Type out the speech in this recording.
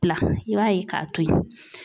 Bila i b'a ye k'a to yen .